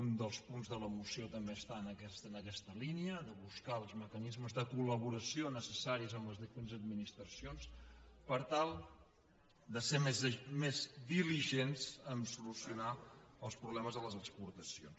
un dels punts de la moció també està en aquesta línia de buscar els mecanismes de col·laboració necessaris amb les diferents administracions per tal de ser més diligents a solucionar els problemes de les exportacions